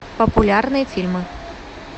популярные фильмы